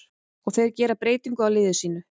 Og þeir gera breytingu á liði sínu.